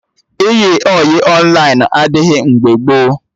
Ịyị ọyị Ọnlaịn adịghị mgbe gboo